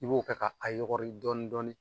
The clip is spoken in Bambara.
I b'o kɛ ka a yɔgɔri dɔɔni dɔɔni